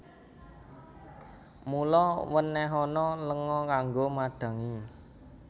Mula wènèhana lenga kanggo madhangi